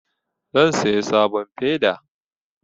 Zan saya sabon feda